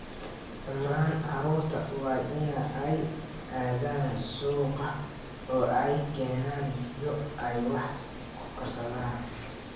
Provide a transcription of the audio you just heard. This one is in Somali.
Dhammaan carruurta waa in ay aadaan suuqa oo ay keenaan biyo ay wax ku karsadaan